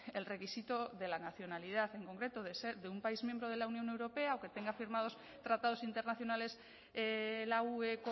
el requisito de la nacionalidad en concreto de ser de un país miembro de la unión europea o que tenga firmados tratados internacionales la ue